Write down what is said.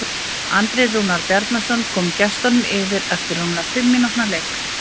Andri Rúnar Bjarnason kom gestunum yfir eftir rúmlega fimm mínútna leik.